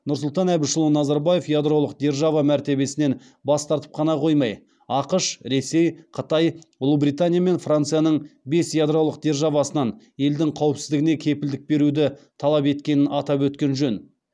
нұрсұлтан әбішұлы назарбаев ядролық держава мәртебесінен бас тартып қана қоймай ақш ресей қытай ұлыбритания мен францияның бес ядролық державасынан елдің қауіпсіздігіне кепілдік беруді талап еткенін атап өткен жөн